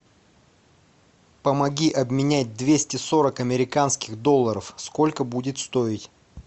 помоги обменять двести сорок американских долларов сколько будет стоить